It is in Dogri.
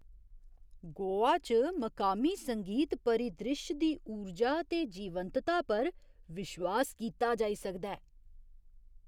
गोवा च मकामी संगीत परिद्रिश्श दी ऊर्जा ते जीवंतता पर विश्वास कीता जाई सकदा ऐ।